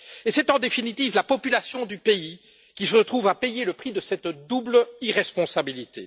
Et c'est en définitive la population du pays qui se trouve à payer le prix de cette double irresponsabilité.